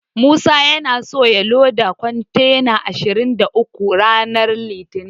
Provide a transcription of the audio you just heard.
Musa yana so ya loda kontena ashirin da uku ranar litinin.